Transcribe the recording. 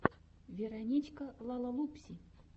вероничка лалалупси